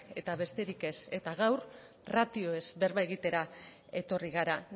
eta besterik ez eta gaur ratioez berba egitera etorri gara